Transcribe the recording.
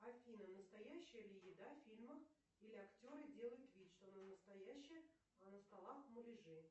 афина настоящая ли еда в фильмах или актеры делают вид что она настоящая а на столах муляжи